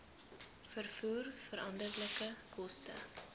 vervoer veranderlike koste